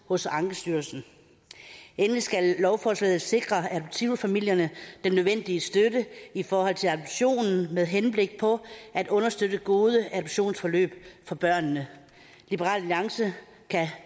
hos ankestyrelsen endelig skal lovforslaget sikre adoptivfamilierne den nødvendige støtte i forhold til adoptionen med henblik på at understøtte gode adoptionsforløb for børnene liberal alliance kan